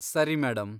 ಸರಿ, ಮೇಡಂ.